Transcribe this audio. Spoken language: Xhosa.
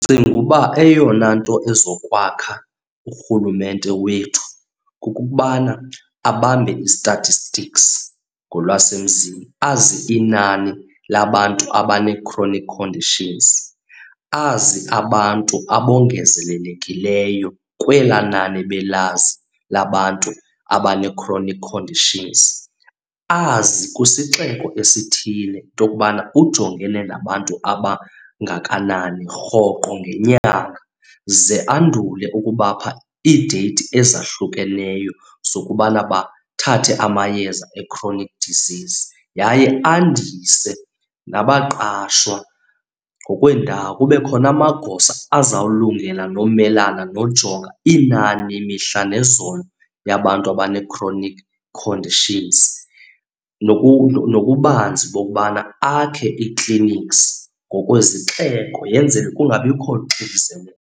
Ndicinga ukuba eyona nto ezokwakha urhulumente wethu kukubana abambe i-statistics ngolwasemzini. Azi inani labantu abanee-chronic conditions, azi abantu abongezelekileyo kwelaa nani ebelazi labantu abanee-chronic conditions. Azi kwisixeko esithile into yokubana ujongene nabantu abangakanani rhoqo ngenyanga ze andule ukubapha iideyithi ezahlukeneyo zokubana bathathe amayeza e-chronic disease, yaye andise nabaqashwa ngokweendawo. Kube khona amagosa azawulungela nomelana nojonga inani mihla nezolo yabantu abanee-chronic conditions nokubanzi bokubana akhe ii-clinics ngokwezixeko yenzele kungabikho xinzelelo.